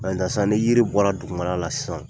sisan ni yiri bɔra dugumal la sisan